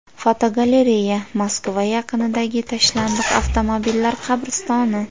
Fotogalereya: Moskva yaqinidagi tashlandiq avtomobillar qabristoni.